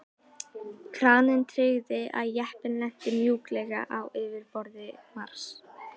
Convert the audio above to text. Kraninn tryggði að jeppinn lenti mjúklega á yfirborði Mars.